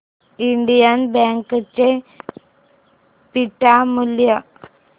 Indian Bank चे beta मूल्य